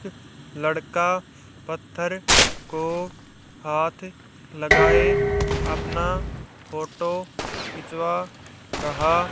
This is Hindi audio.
लड़का पत्थर को हाथ लगाए अपना फोटो खिंचवा रहा--